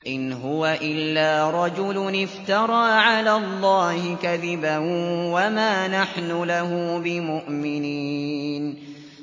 إِنْ هُوَ إِلَّا رَجُلٌ افْتَرَىٰ عَلَى اللَّهِ كَذِبًا وَمَا نَحْنُ لَهُ بِمُؤْمِنِينَ